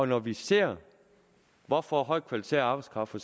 når vi ser hvorfor højt kvalificeret arbejdskraft for